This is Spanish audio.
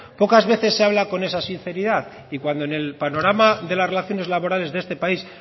pocas veces se habla con esa sinceridad y cuando en el panorama de las relaciones laborales de este país